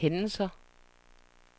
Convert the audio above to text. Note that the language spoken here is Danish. hændelser